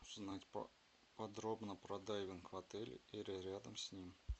узнать подробно про дайвинг в отеле или рядом с ним